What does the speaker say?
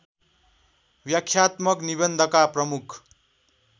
व्याख्यात्मक निबन्धका प्रमुख